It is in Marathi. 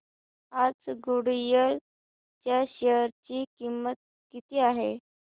आज गुडइयर च्या शेअर ची किंमत किती आहे